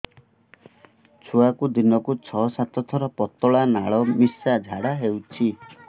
ଛୁଆକୁ ଦିନକୁ ଛଅ ସାତ ଥର ପତଳା ନାଳ ମିଶା ଝାଡ଼ା ହଉଚି